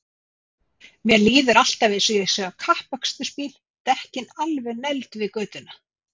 Mér líður alltaf eins og ég sé á kappakstursbíl, dekkin alveg negld við götuna.!